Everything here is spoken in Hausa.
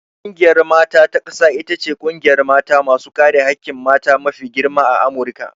Ƙungiyar mata ta ƙasa ita ce ƙungiyar mata masu kare hakkin mata mafi girma a Amurika.